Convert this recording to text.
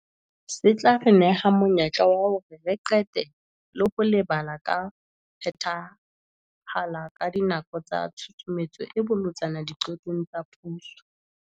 Se tla re neha monyetla wa hore re qete le ho lebala ka ho phethahala ka dinako tsa tshusumetso e bolotsana diqetong tsa puso.